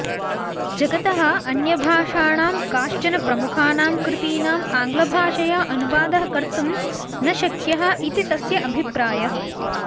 जगतः अन्यभाषाणां काश्चन प्रमुखानां कृतीनाम् आंगलभाषया अनुवादः कर्तुं न शक्यः इति तस्य अभिप्रायः